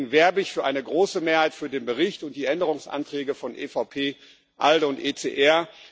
Deswegen werbe ich für eine große Mehrheit für den Bericht und die Änderungsanträge von EVP, ALDE und ECR.